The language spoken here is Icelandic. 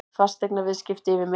Fasteignaviðskipti yfir meðallagi